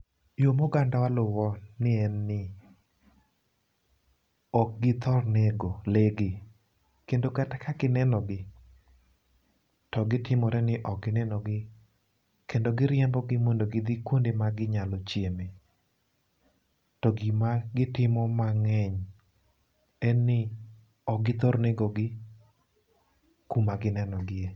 yoo moganda wa luwo ni en ni ok githor nego lee gi ,kendo ka gineno gi to gitimore ni ok gineno gi kendo giriembo gi mondo gidhi kuma ginyalo chieme. To gima gitimo mang'eny en ni, ok githor negogi kuma gineno gie.